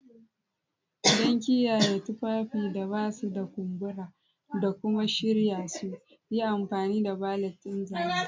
Don kiyaye tufafin da ba su da kumbura da kuma shirya su, yi amfani da valet ɗin zane.